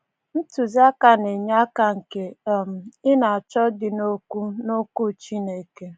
Ntuziaka na-enye aka nke um ị na-achọ dị n'Okwu n'Okwu Chineke.